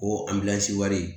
O anbilansi wari